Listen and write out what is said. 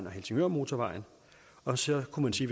og helsingørmotorvejen og så kunne man sige